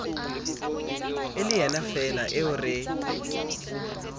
e le yenafeela eo re